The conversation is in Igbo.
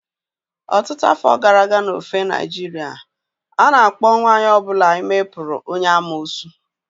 Ọtụtụ afọ gara aga n'ofe Naịjirịa, a na-akpọ nwanyị ọ bụla ime putu onye amuosu